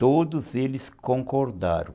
Todos eles concordaram.